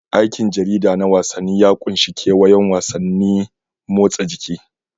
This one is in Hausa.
Aikin jarida na wasanni ya ƙunshi kewayon wasannin motsa jiki.